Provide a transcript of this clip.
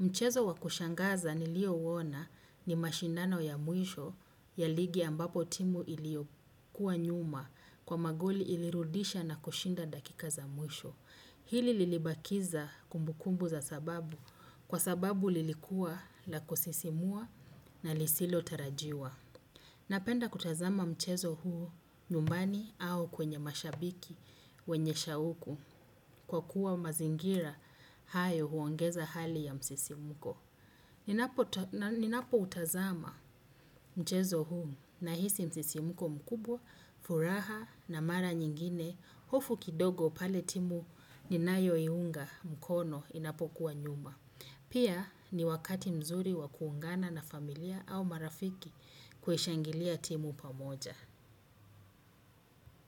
Mchezo wa kushangaza nilio uona ni mashindano ya mwisho ya ligi ambapo timu ilio kuwa nyuma kwa magoli ilirudisha na kushinda dakika za mwisho. Hili lilibakiza kumbukumbu za sababu kwa sababu lilikuwa la kusisimua na lisilo tarajiwa. Napenda kutazama mchezo huu nyumbani au kwenye mashabiki wenye shauku kwa kuwa mazingira hayo huongeza hali ya msisimuko. Ninapo utazama mchezo huu nahisi msisimuko mkubwa, furaha na mara nyingine, hofu kidogo pale timu ninayo iunga mkono inapo kuwa nyuma. Pia ni wakati mzuri wa kuungana na familia au marafiki kuishangilia timu pamoja.